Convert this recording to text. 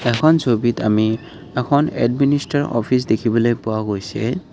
এখন ছবিত আমি এখন এডমিনিষ্টৰ অফিচ দেখিবলৈ পোৱা গৈছে।